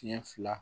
Tiɲɛ fila